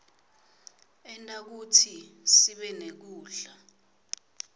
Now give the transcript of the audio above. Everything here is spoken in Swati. enta kutsi sibenekudla